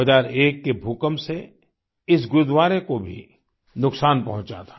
2001 के भूकंप से इस गुरूद्वारे को भी नुकसान पहुँचा था